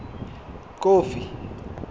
kofi